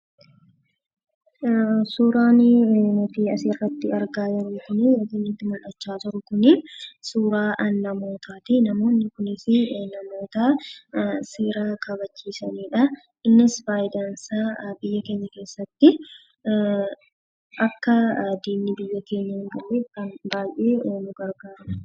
Suuraan nuti asirratti argaa jirru kun, yookiin nutti mul'achaa jiru kun, suuraa namootaa ti. Namoonni kunis namoota seera kabachiisanii dha. Innis faayidaan isaa biyya keenya keessatti akka diinni biyya keenya hin galleef kan baay'ee nu gargaaruu dha.